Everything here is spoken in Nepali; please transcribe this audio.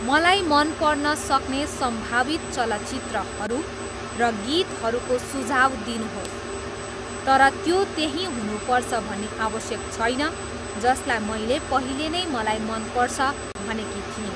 मलाई मनपर्न सक्ने सम्भावित चलचित्रहरू र गीतहरूको सुझाव दिनुहोस् तर त्यो त्यही हुनुपर्छ भन्ने आवश्यक छैन जसलाई मैले पहिले नै मलाई मनपर्छ भनेकी थिएँ